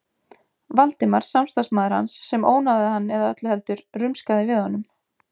Valdimar, samstarfsmaður hans, sem ónáðaði hann eða öllu heldur: rumskaði við honum.